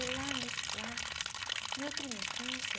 E lá nesse, lá, no meu tempo de infância,